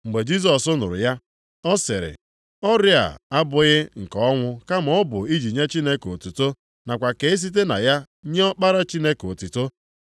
Mgbe Jisọs nụrụ ya, ọ sịrị, “Ọrịa a abụghị nke ọnwụ kama ọ bụ iji nye Chineke otuto nakwa ka e site na ya nye Ọkpara Chineke otuto.”